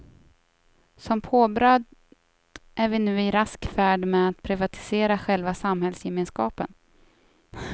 Som påbröd är vi nu i rask färd med att privatisera själva samhällsgemenskapen.